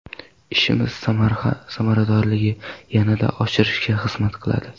Ishimiz samaradorligini yanada oshirishga xizmat qiladi”.